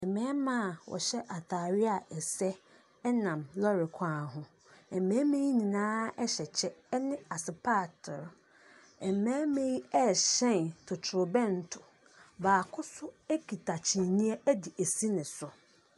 Mmarima a wɔhyɛ atareɛ a ɛsɛ nam lɔre kwan ho. Mmarima yi nyinaa hyɛ kyɛ ne asopaatere. Mmarima yi rehyɛn totorobɛnto. Baako nso kita kyiniiɛ de asi ne so.